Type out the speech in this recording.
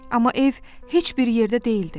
Amma ev heç bir yerdə deyildi.